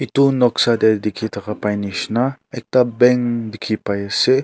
etu noksa te dikhi thaka pai nishina ekta bank dikhi pai ase.